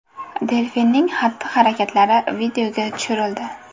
Delfinning xatti-harakatlari videoga tushirildi.